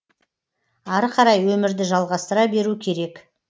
ары қарай өмірді жалғастыра беру керек